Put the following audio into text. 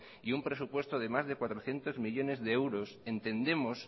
y un presupuesto de más de cuatrocientos millónes de euros entendemos